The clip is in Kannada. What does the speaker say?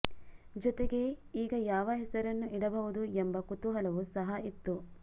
ಜೊತೆಗೆ ಈಗ ಯಾವ ಹೆಸರನ್ನು ಇಡಬಹುದು ಎಂಬ ಕುತೂಹಲವು ಸಹ ಇತ್ತು